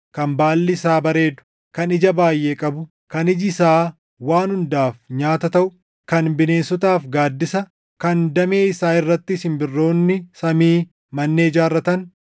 kan baalli isaa bareedu, kan ija baayʼee qabu, kan iji isaa waan hundaaf nyaata taʼu, kan bineensotaaf gaaddisa, kan damee isaa irratti simbirroonni samii mandhee ijaarratan,